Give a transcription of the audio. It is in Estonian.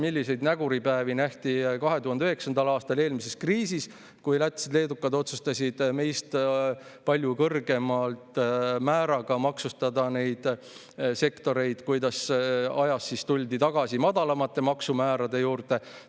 Milliseid näguripäevi nähti 2009. aastal eelmises kriisis, kui lätlased-leedukad otsustasid meist palju kõrgema määraga maksustada neid sektoreid ja kuidas siis ajas tuldi tagasi madalamate maksumäärade juurde.